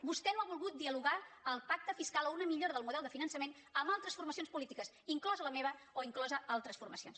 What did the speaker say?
vostè no ha volgut dialogar el pacte fiscal o una millora del model de finançament amb altres formacions polítiques inclosa la meva o incloses altres formacions